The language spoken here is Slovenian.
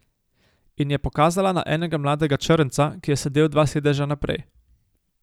In je pokazala na enega mladega črnca, ki je sedel dva sedeža naprej.